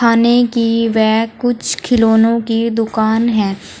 खाने की व कुछ खिलौनों की दुकान है।